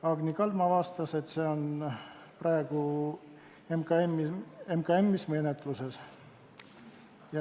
Agni Kaldma vastas, et see on praegu MKM-is menetluses.